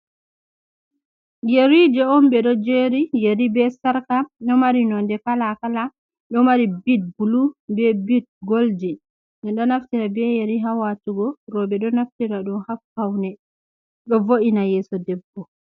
Yeri je on ɓe ɗo jeri, yeri be sarka ɗo mari node kala kala ɗo mari bit bulu, be bit golji, ɗe ɗo naftira be yari hawatugo roɓe ɗo naftira ɗum ha ppaune ɗo vo’ina yeso debbo.